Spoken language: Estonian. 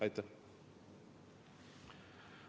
Aitäh!